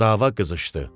Dava qızışdı.